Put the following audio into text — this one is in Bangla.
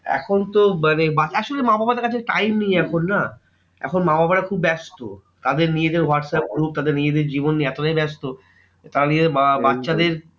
এখন তো মানে আসলে মা বাবাদের কাছে time নেই এখন না? এখন মা বাবারা খুব ব্যস্ত। তাদের নিজেদের whatsapp group তাদের নিজেদের জীবন নিয়ে এতটাই ব্যস্ত, তারা নিজেদের বা~ বাচ্চাদের